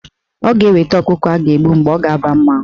Ọ ga-eweta ọkụkọ a ga-agbụ mgbe ọ ga-aba mmanwụ.